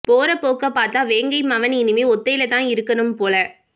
போற போக்க பார்த்தா வேங்கை மவன் இனிமே ஒத்தைல தான் இருக்கணும் போல